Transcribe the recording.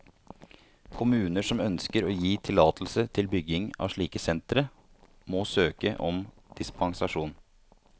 Kommuner som ønsker å gi tillatelse til bygging av slike sentre, må søke om dispensasjon.